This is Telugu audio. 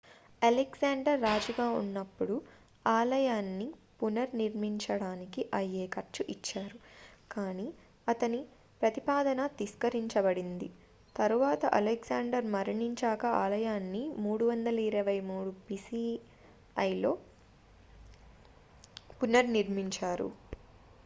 అలెగ్జాండర్ రాజుగా ఉన్నప్పుడు ఆలయాన్ని పునర్నిర్మించడానికి అయ్యే ఖర్చు ఇచ్చారు కానీ అతని ప్రతిపాదన తిరస్కరించబడింది తరువాత అలెగ్జాండర్ మరణించాకా ఆలయాన్ని 323 బిసిఇలో పునర్నిర్మించారు